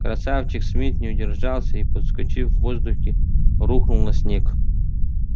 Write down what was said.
красавчик смит не удержался и подскочив в воздухе рухнул на снег